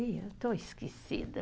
Ih, eu estou esquecida.